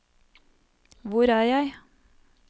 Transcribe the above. hvor er jeg